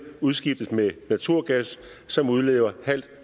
udskiftes med naturgas som udleder halvt